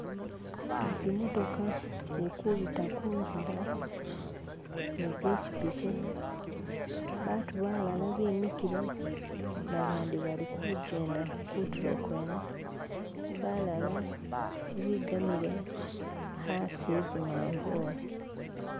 Zimotoka zilikubita kunzila nizipikipiki. Abantu bala bimikile bandi balikujenda kuntulo kwene. Balala bigamile asi wezimanvulu.